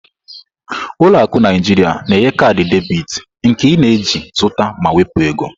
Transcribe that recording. Ụlọ akụ Naijiria na-enye kaadị debit, nke ị na-eji zụta ma wepụ ego.